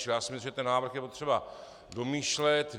Čili já si myslím, že ten návrh je potřeba domýšlet.